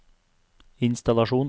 innstallasjon